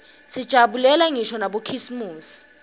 sijabulela ngisho nabokhisimusi